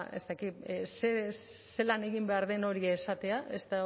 ez da ez dakit zelan egin behar den hori esatea